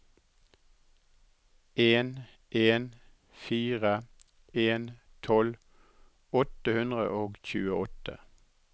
en en fire en tolv åtte hundre og tjueåtte